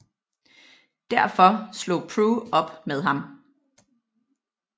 Derfor slog Prue op med ham